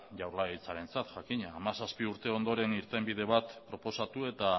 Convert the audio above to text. jaurlaritzarentzat jakina hamazazpi urte ondoren irtenbide bat proposatu eta